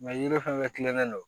yiri fɛn fɛn kilennen don